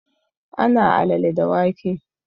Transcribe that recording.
Ana alale da wake